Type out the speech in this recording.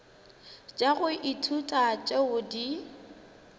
tša go ithuta tšeo di